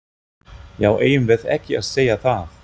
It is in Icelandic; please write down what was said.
Já, eigum við ekki að segja það?